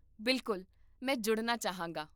ਬਿਲਕੁਲ, ਮੈਂ ਜੁੜਨਾ ਚਾਹਾਂਗਾ